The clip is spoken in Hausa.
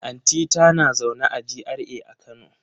Anti ta na zaune a GRA a kano